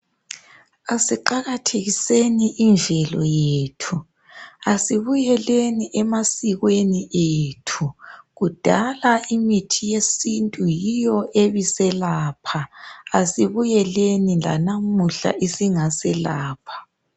Asiqakathekiseni imvelo yethu asibuyeleni emasikweni ethu kudala imithi yesintu yiyo ebiselapha asibuyeleni lanamuhla isingaselapha.